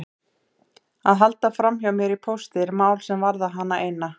Að halda framhjá mér í pósti er mál sem varðar hana eina.